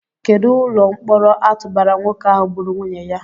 Kedụ ụlọ mkpọrọ a tụbara nwoke ahụ gburu nwunye ya?